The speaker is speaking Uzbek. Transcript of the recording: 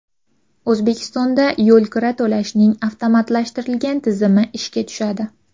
O‘zbekistonda yo‘lkira to‘lashning avtomatlashtirilgan tizimi ishga tushadi.